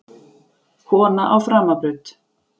Kona á framabraut.